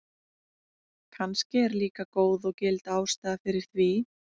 Kannski er líka góð og gild ástæða fyrir því.